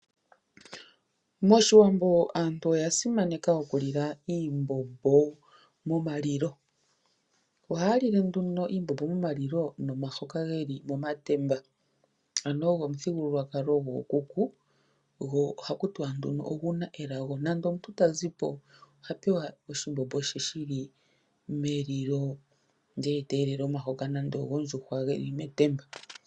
MOshiwambo aantu oya simaneka okilila iimbombo momalilo. Ohaya lile nduno iimbombo momalilo nomahoka geli momatemba, ano ogo omuthigululwakalo gookuku, go ohaku tiwa nduno oguna elago. Nande omuntu ta zipo oha pewa oshimbombo she shi li melilo ndele ete elele omahoka nande ogondjuhwa geli metemba.